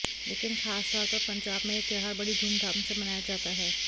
लेकिन खासतौर पर पंजाब में यह त्योहार बड़ी धूमधाम से मनाया जाता है